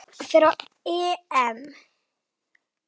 Spánn fer á EM.